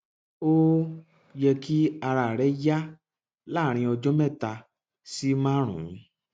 ó ó yẹ kí ara rẹ yá láàárín ọjọ mẹta sí márùnún